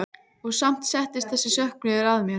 Og samt settist þessi söknuður að mér.